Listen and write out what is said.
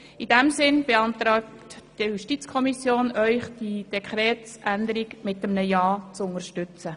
In diesem Sinn beantragt Ihnen die Justizkommission Ihnen, diese Dekretsänderung mit einem Ja zu unterstützen.